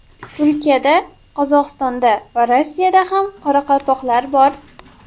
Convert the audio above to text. Turkiyada, Qozog‘istonda va Rossiyada ham qoraqalpoqlar bor.